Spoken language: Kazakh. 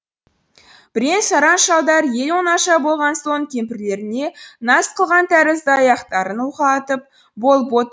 бірен саран шалдар ел оңаша болған соң кемпірлеріне наз қылған тәрізді аяқтарын уқалатып болып отыр